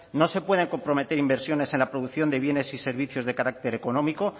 no se pueden comprometer inversiones en la producción de bienes y servicios de carácter económico